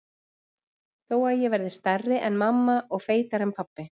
Þó að ég verði stærri en mamma og feitari en pabbi.